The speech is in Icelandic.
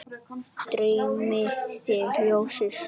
Dreymi þig ljósið, sofðu rótt!